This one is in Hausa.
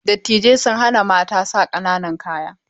Dattijai sun hana Mata sa ƙananan kaya.